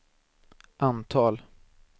antal